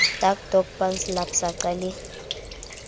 dac doj pansalb saqa le